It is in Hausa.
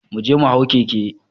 Mu je mu hau keke